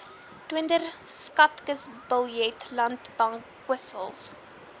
toonder skatkisbiljette landbankwissels